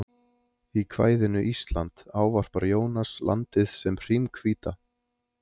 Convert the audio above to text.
Í kvæðinu Ísland ávarpar Jónas landið sem hrímhvíta